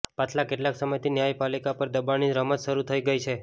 પાછલા કેટલાક સમયથી ન્યાયપાલિકા પર દબાણની રમત શરૂ થઇ ગઇ છે